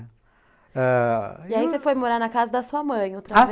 Ãh... E aí você foi morar na casa da sua mãe outra vez?